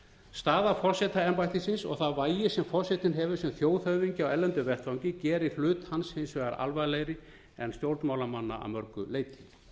staða forsetaembættisins og það vægi sem forsetinn hefur sem þjóðhöfðingi á erlendum vettvangi gerir hlut hans hins vegar alvarlegri en stjórnmálamanna að mörgu leyti